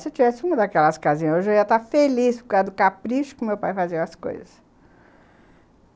Se eu tivesse uma daquelas casinhas hoje, eu ia estar feliz, por causa do capricho que o meu pai fazia com as coisas.